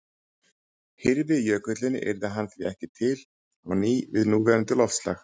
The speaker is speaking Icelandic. Hyrfi jökullinn yrði hann því ekki til á ný við núverandi loftslag.